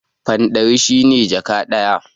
Fan ɗari shi ne jaka ɗaya.